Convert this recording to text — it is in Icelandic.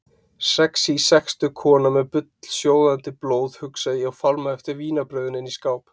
Sexí sextug kona með bullsjóðandi blóð, hugsa ég og fálma eftir vínarbrauðinu inni í skáp.